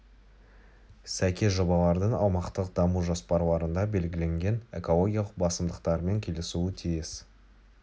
сәйкес жобалардың аумақтық даму жоспарларында белгіленген экологиялық басымдықтармен келісуі тиіс